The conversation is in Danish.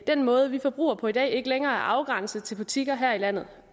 den måde vi forbruger på i dag ikke længere er afgrænset til butikker her i landet